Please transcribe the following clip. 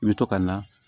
I bɛ to ka na